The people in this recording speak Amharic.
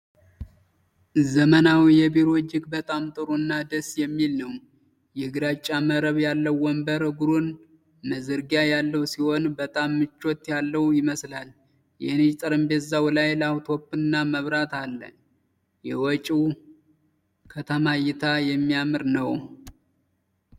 ዘመናዊ ቢሮ እጅግ በጣም ጥሩ እና ደስ የሚል ነው። የግራጫ መረብ ያለው ወንበር እግሩን መዘርጊያ ያለው ሲሆን፣ በጣም ምቾት ያለው ይመስላል። የነጭ ጠረጴዛው ላይ ላፕቶፕና መብራት አለ። የውጪው ከተማ እይታ የሚያምር ነው።